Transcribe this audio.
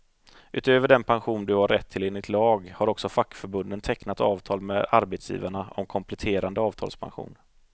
Utöver den pension du har rätt till enligt lag, har också fackförbunden tecknat avtal med arbetsgivarna om kompletterande avtalspension.